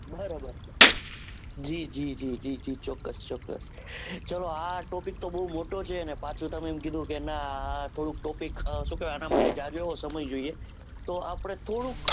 બરાબર જીજીજીજી ચોક્કસ ચોક્કસ ચાલો આ topic તો બૌ મોટો છે અને પાછું તમે એમ કીધુંને કે topic સુ કહેવાય અને માટે જાજો એવો સમય જોવે. તો આપણે થોડુંક